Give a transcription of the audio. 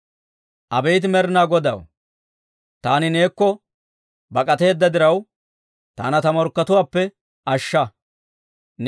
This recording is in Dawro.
Abeet Med'inaa Godaw, taani neekko bak'ateedda diraw, taana ta morkkatuwaappe ashsha.